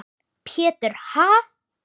Pétur: Ha?